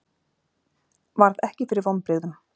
Varð ekki fyrir vonbrigðum